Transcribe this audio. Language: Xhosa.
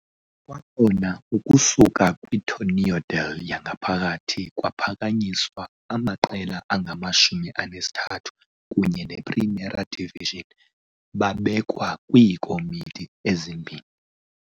Kwakhona ukusuka kwi-Torneo del yangaphakathi kwaphakanyiswa amaqela angama-13 kunye ne-Primera División babekwe kwiikomiti ezi-2.